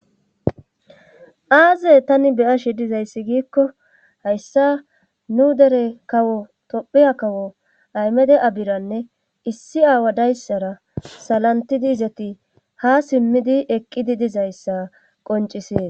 Aaze tani be'ashe dizayssi giiko hayssa nu dere kawo tophiya kawo aymede abiranne issi awa dayssara salantidi izati ha simmidi eqqidi dizayssa qonccises.